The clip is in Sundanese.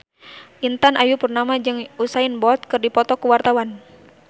Intan Ayu Purnama jeung Usain Bolt keur dipoto ku wartawan